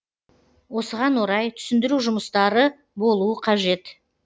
осыған орай түсіндіру жұмыстары болуы қажет